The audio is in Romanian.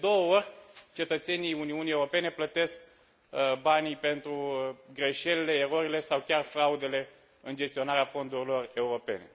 Deci, de două ori, cetățenii Uniunii Europene plătesc banii pentru greșelile, erorile sau chiar fraudele în gestionarea fondurilor europene.